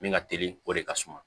Min ka teli o de ka suma